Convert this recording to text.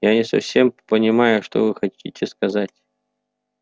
я не совсем понимаю что вы хотите сказать